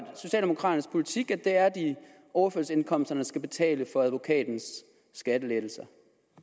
socialdemokraternes politik at det er overførselsindkomsterne der skal betale for advokatens skattelettelser